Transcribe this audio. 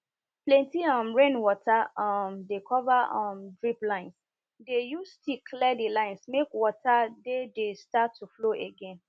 plenty um rain water um dey cover um drip linesdey use stick clear the lines make water dey dey start to flow again